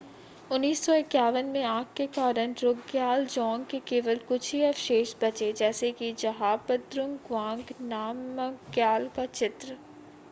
1951 में आग के कारण ड्रुकग्याल ज़ॉञ्ग के केवल कुछ ही अवशेष बचे जैसे कि ज़्हाबद्रुंग गवांग नामग्याल का चित्र